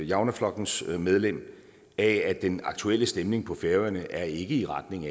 javnaðarflokkurins medlem af at den aktuelle stemning på færøerne ikke er i retning